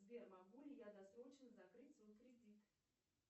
сбер могу ли я досрочно закрыть свой кредит